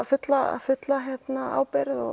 fulla fulla ábyrgð